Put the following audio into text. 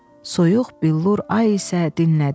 Soyuq billur ay isə dinlədi.